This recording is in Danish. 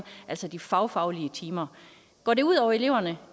altså de fagfaglige timer går det ud over eleverne